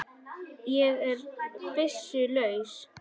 Ég er byssu laus.